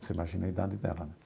Você imagina a idade dela, né?